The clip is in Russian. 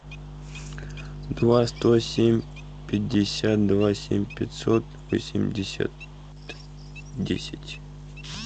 два сто семь пятьдесят два семь пятьсот восемьдесят десять